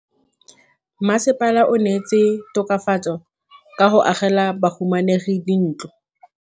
Mmasepala o neetse tokafatsô ka go agela bahumanegi dintlo.